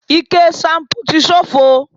Ike ṣanpú ti ṣófo